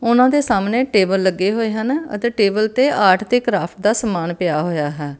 ਓਹਨਾਂ ਦੇ ਸਾਹਮਣੇ ਟੇਬਲ ਲੱਗੇ ਹੋਏ ਹਨ ਅਤੇ ਟੇਬਲ ਤੇ ਆਰਟ ਤੇ ਕ੍ਰਾਫਟ ਦਾ ਸਮਾਨ ਪਿਆ ਹੋਇਆ ਹੈ।